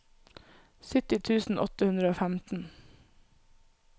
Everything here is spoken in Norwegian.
sytti tusen åtte hundre og femten